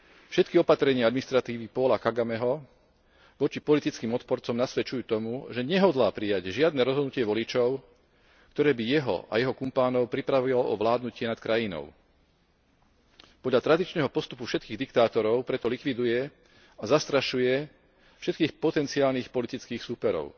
Všetky opatrenia administratívy Paula Kagameho voči politickým odporcom nasvedčujú tomu, že nehodlá prijať žiadne rozhodnutie voličov, ktoré by jeho a jeho kumpánov pripravilo o vládnutie nad krajinou. Podľa tradičného postupu všetkých diktátorov preto likviduje a zastrašuje všetkých potenciálnych politických súperov.